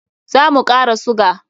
Za mu kara suga.